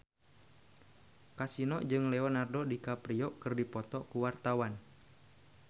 Kasino jeung Leonardo DiCaprio keur dipoto ku wartawan